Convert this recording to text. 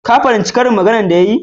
Ka fahimti karin maganan da ya yi?